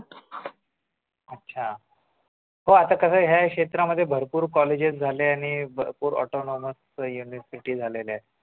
अच्छा हो आता कस आहे ह्या क्षेत्रामध्ये भरपूर कॉलेज झाले आणि भरपूर autonomous city झालेल्या आहेत